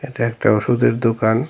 এটা একটা ওষুধের দোকান।